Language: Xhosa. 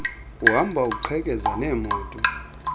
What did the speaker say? uhamba uqhekeza neemoto